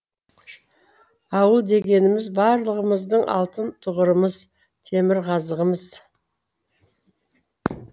ауыл дегеніміз барлығымыздың алтын тұғырымыз темірқазығымыз